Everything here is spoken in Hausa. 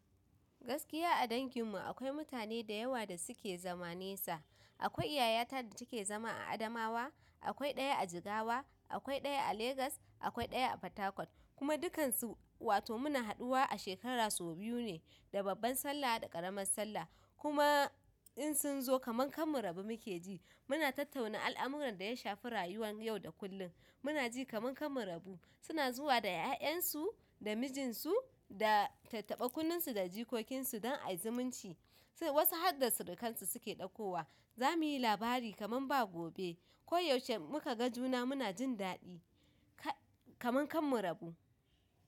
Gaskiya a dangin mu akwai mutane da yawa da suke zama nesa. Akwai yayata da take zama a Adamawa, akwai ɗaya a Jigawa, akwai ɗaya a Legas, akwai ɗaya a Fatakwal, kuma dukansu wato muna haduwa a shekara sau biyu ne, da babban Sallah da ƙaramin Sallah. Kuma in sun zo kaman karmu rabj muke ji. Muna tattauna al'amuran da ya shafi rayuwan yau da kullum. Muna ji kaman kanmu rabu. Suna zuwa da 'ya'yan su, da mijin su, da tattaɓa kunnunsu da jikokin su don a yi zumunci. Wasu hadda surukan su suke ɗaukowa. Za mu yi labari kaman ba gobe. Ko yaushe muka ga juna muna jin daɗi kaman kar mu rabu!